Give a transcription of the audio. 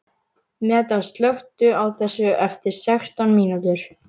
Meda, slökktu á þessu eftir sextán mínútur.